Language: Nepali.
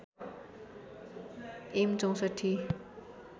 एम ६४